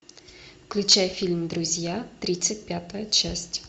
включай фильм друзья тридцать пятая часть